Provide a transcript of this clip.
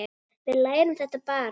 Við lærum þetta bara.